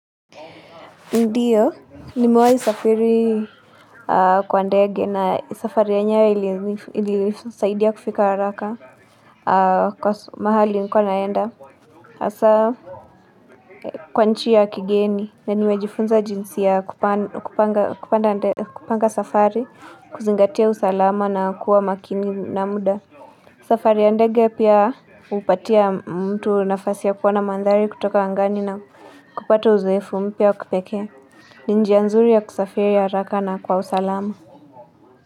Ndiyo nimewahi safiri kwa ndege na safari anya ilisaidia kufika haraka kwa mahali nilikuwa naenda hasa Kwa nchi ya kigeni na niwejifunza jinsi ya kupa kupanda sa kupanga safari kuzingatia usalama na kuwa makini na muda safari ya ndege pia hupatia mtu nafasi ya kuona mandhari kutoka angani na kupata uzoefu mpya wakipekee ni njia nzuri ya kusafiri haraka na kwa usalama.